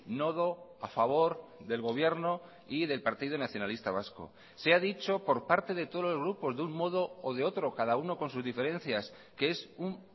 nodo a favor del gobierno y del partido nacionalista vasco se ha dicho por parte de todos los grupos de un modo o de otro cada uno con sus diferencias que es un